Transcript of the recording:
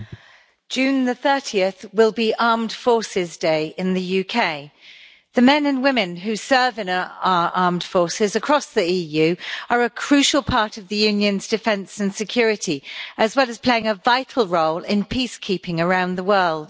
Madam President, 30 June will be Armed Forces Day in the UK. The men and women who serve in our armed forces across the EU are a crucial part of the Union's defence and security, as well as playing a vital role in peacekeeping around the world.